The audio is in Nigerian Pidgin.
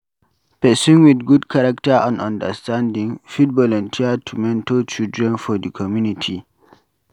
Person with good character and standing fit volunteer to mentor children for di community